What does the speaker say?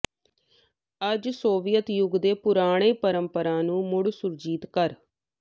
ਅੱਜ ਸੋਵੀਅਤ ਯੁੱਗ ਦੇ ਪੁਰਾਣੇ ਪਰੰਪਰਾ ਨੂੰ ਮੁੜ ਸੁਰਜੀਤ ਕਰ